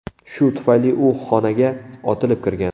Shu tufayli u xonaga otilib kirgan.